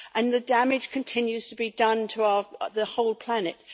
The damage continues to be done to the whole planet.